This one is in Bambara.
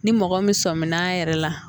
Ni mɔgɔ min sɔmin na a yɛrɛ la